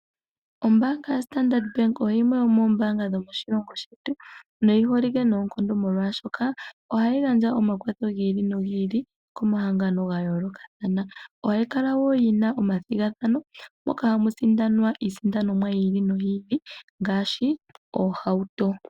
Ombaanga yaStandard Bank oyo yimwe yomoombaanga dhomoshilongo shetu noyi holike noonkondo, molwashoka ohayi gandja omakwatho gi ili nogi ili komahangano ga yoolokathana. Ohayi kala wo yi na omathigathano moka hamu sindanwa iisindanomwa yi ili noyi ili ngaashi oohauto.